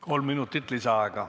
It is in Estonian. Kolm minutit lisaaega.